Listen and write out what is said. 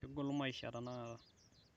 kegol maisha tenakata